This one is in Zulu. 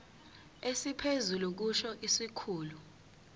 esiphezulu kusho isikhulu